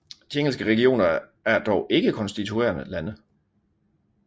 De engelske regioner er dog ikke konstituerende lande